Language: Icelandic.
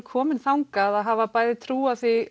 komin þangað að hafa bæði trúað því